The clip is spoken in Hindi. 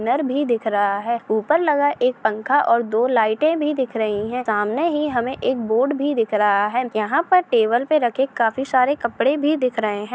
--नर भी दिख रहा है ऊपर लगा एक पंखा और दो लाइटे भी दिख रही है सामने ही हमे एक बोर्ड भी दिख रहा है यहाँ पर टेबल पर रखे काफी सारे कपड़े भी दिख रहे है।